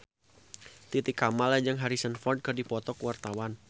Titi Kamal jeung Harrison Ford keur dipoto ku wartawan